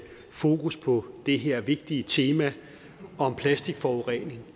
fokus på det her vigtige tema om plastikforurening